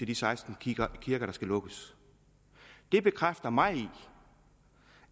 de seksten kirker der skal lukkes bekræfter mig i